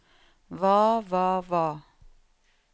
hva hva hva